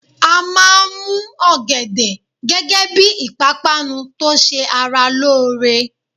A máa mú ọ̀gẹ̀dẹ̀ gẹ́gẹ́ bí ìpápánu tó ṣẹ ara lóore.